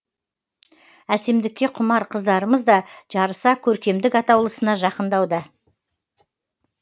әсемдікке құмар қыздарымызда жарыса көркемдік атаулысына жақындауда